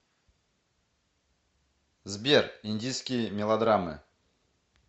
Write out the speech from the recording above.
сбер индийские мелодраммы